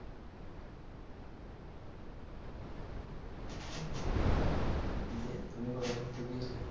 দিয়ে তুমি কোথায় ঘুরতে গিয়েছিলে?